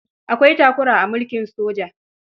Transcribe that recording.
Akwai takura a mulkin soja.